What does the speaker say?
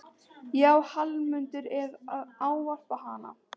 Já, Hallmundur er að ávarpa hana!